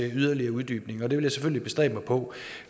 yderligere uddybning og det vil jeg selvfølgelig bestræbe mig på